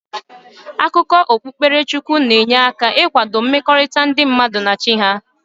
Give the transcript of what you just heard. Akụkọ okpukpere Chukwu na-enye aka ị kwado mmekọrịta ndị mmadụ na Chi ha.